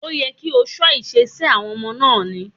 Ó yẹ kí o kọ́ ìṣesí àwọn ọmọ náà ni.